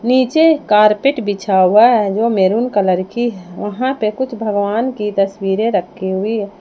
नीचे कारपेट बिछा हुआ है जो मैरून कलर की है वहां पे कुछ भगवान की तस्वीर रखी हुई हैं।